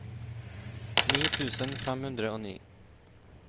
ni tusen fem hundre og ni